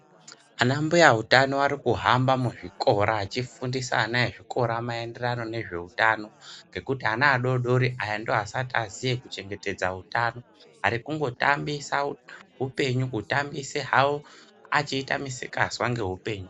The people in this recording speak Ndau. Ana mbuya utano varikuhamba vachifundisa ana maringe nezvehutano kuana adodori nekuti ndovasati vakuziya kuchengetedza hutano arikungotambisa hupenyu kutambisa vachiita Misikanzwa ngehupenyu.